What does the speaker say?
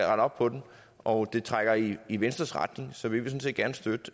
op på den og det trækker i i venstres retning så vi vil sådan set gerne støtte